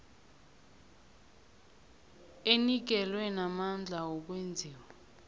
enikelwe namandla wokwenziwa